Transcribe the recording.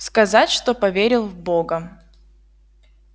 сказать что поверил в бога